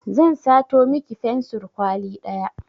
Zan sato miki fensur kwali ɗaya